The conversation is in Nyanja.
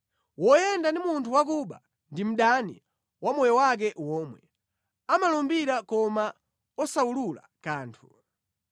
Woyenda ndi munthu wakuba ndi mdani wa moyo wake womwe; amalumbira koma osawulula kanthu.